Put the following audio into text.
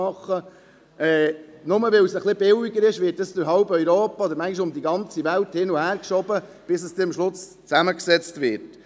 Nur weil es ein bisschen billiger ist, werden Einzelteile durch halb Europa oder manchmal um die ganze Welt herumgeschoben, bis sie am Schluss zusammengebaut werden.